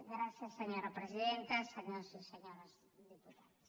gràcies senyora presidenta senyores i senyors diputats